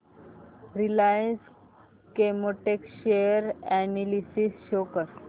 Reliance Chemotex share analysis show कर